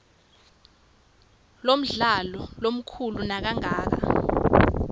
lomdlalo lomkhulu nakangaka